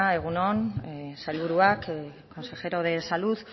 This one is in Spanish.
egun on sailburuak consejero de salud